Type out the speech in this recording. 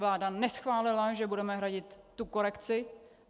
Vláda neschválila, že budeme hradit tu korekci.